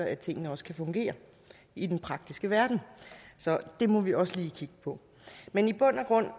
at tingene også kan fungere i den praktiske verden så det må vi også lige kigge på men i bund